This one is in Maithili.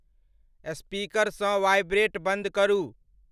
स्पीकर सँ वाइब्रेट बंद करू।